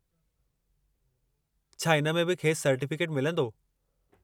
छा इन में बि खेसि सर्टीफ़िकेट मिलंदो?